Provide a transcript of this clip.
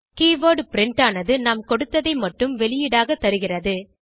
keyword print ஆனது நாம் கொடுத்ததை மட்டுமே வெளியீடாக தருகிறது